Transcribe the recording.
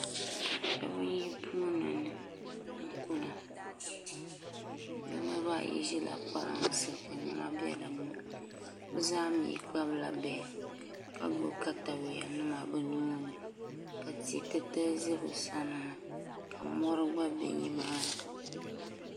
Shab n yi puuni kuna bi niraba ayi ʒirila kpalansi ka niɛma bɛ dinni bi zaa mii kpabila bihi ka gbubi katawiya nima bi nuuni ka tia titali bɛ bi sani ka mori gba bɛ nimaani